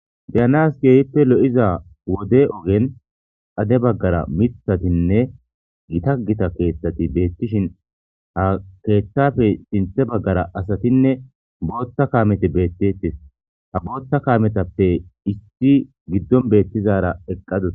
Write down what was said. deyanaskyehippe lo7iza wode ogen ade baggara mithatinne gita gita keeththati beettishin ha keeththafe sinthe baggara asatinne bootta kaamete beettettes ha bootta kaametappe issi giddon beettizara eqqadoe